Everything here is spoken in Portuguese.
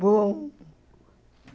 Bom.